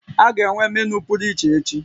A ga-enwe menu pụrụ iche echi?